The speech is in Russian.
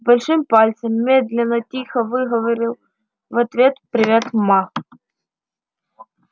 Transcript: большим пальцем медленно тихо выговорил в ответ привет ма